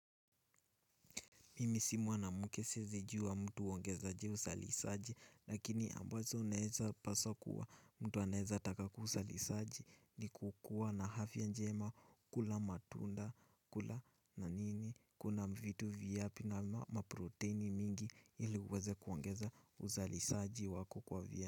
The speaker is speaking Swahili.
Mimi si mwanamke siwezijuwa mtu huongeza aje uzalisaji lakini ambazo unaweza paswa kuwa mtu anaweza taka kuzalisaji ni kukua na afya njema kula matunda kula nanini kuna vitu vyapi na maproteini mingi ili uweze kuongeza uzalisaji wako kwa vya.